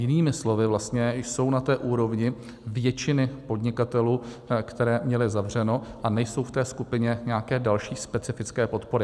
Jinými slovy vlastně jsou na té úrovni většiny podnikatelů, kteří měli zavřeno, a nejsou v té skupině nějaké další specifické podpory.